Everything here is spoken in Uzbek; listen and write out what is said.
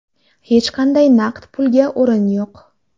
Hech qanday naqd pulga o‘rin yo‘q!